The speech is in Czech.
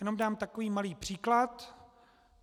Jenom dám takový malý příklad.